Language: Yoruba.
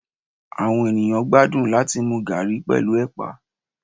awọn eníyan gbadun latí mú garri pẹlu epà